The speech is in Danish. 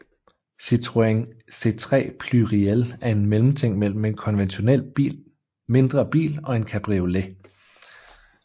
Citroën C3 Pluriel er en mellemting mellem en konventionel mindre bil og en cabriolet